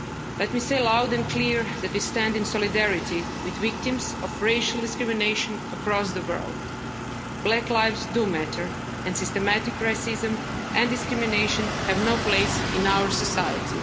Let me say loud and clear that we stand in solidarity with victims of racial discrimination across the world. Black lives do matter and systematic racism and discrimination have no place in our society.